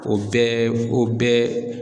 O bɛɛ o bɛɛ